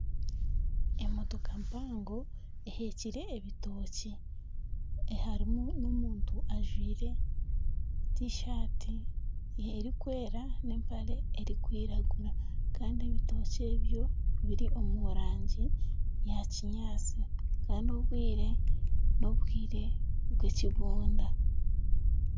Emotooka mpango eheekire ebitookye harimu n'omuntu ajwaire tishati erikwera n'empare erikwiragura kandi ebitookye ebyo biri omu rangi ya kinyaatsi kandi obwire n'obwire bw'ekibunda.